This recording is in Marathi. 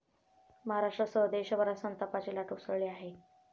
महाराष्ट्रासह देशभरात संतापाची लाट उसळली आहे.